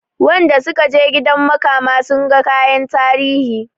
Wanda sukaje gidan makama sunga kayan tarihi